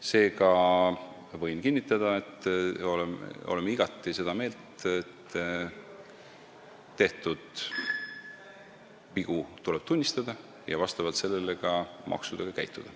Seega võin kinnitada, et oleme igati seda meelt, et tehtud vigu tuleb tunnistada ja vastavalt sellele käituda ka maksudega.